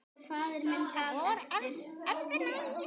Það var öðru nær.